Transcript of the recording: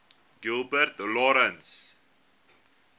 gilbert lawrence